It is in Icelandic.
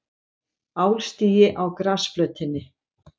Álstigi á grasflötinni.